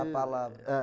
é